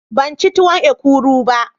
Ban ci tuwon ekuru ba.